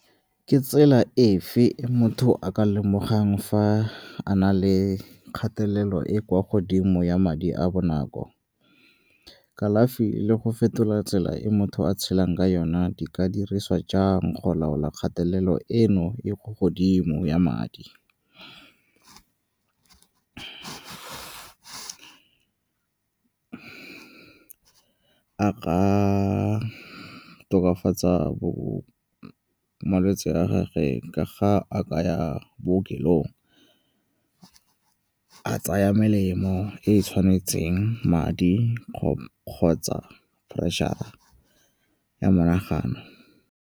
Ke tsela efe e motho a ka lemogang fa a na le kgatelelo e kwa godimo ya madi a bonako. Kalafi le go fetola tsela e motho a tshelang ka yona di ka dirisiwa jang go laola kgatelelo eno e ko godimo ya madi. a ka tokafatsa malwetse a gage ka ga a ka ya bookelong, a tsaya melemo e e tshwanetseng madi kgotsa pressure-ra ya monagano.